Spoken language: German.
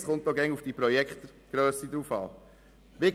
Es kommt dabei auf die Grösse des Projekts an.